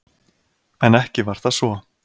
En ekki var það svo.